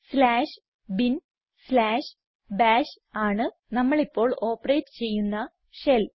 slash bin slash bash ആണ് നമ്മൾ ഇപ്പോൾ ഓപ്പറേറ്റ് ചെയ്യുന്ന ഷെൽ